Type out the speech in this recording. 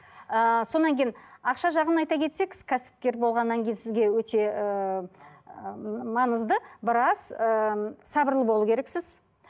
ыыы сонан кейін ақша жағын айта кетсек сіз кәсіпкер болғаннан кейін сізге өте ыыы маңызды біраз ыыы сабырлы болу керексіз